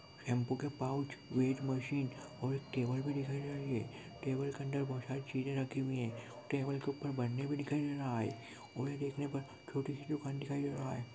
Shampoo के pouch weight machine और table भी दिखाई दे रही है टेबल के अंदर बहुत सारी चीजे रखी हुई है टेबल के ऊपर बरनी भी दिखिए दे रहा है उन्हें देखने पर छोटी सी दुकान दे रहा है।